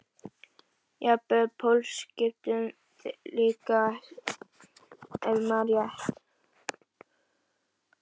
Jafnvel pólskiptum líka ef ég man rétt.